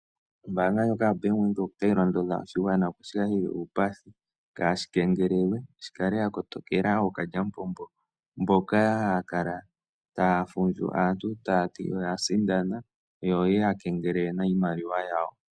Ombanga ndjoka yaBank Windhoek otayi londodha oshigwana shi kale shili uupathi kaashi kengelelwe . Shi kale sha koto kela ookalyamupombo mpoka haya kala taya fundju aantu taya ti oya sindana yo yeya kengelele nawa iimaliwa yawo.